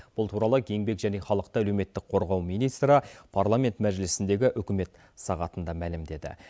бұл туралы еңбек және халықты әлеуметтік қорғау министрі парламент мәжілісіндегі үкімет сағатында мәлімдеді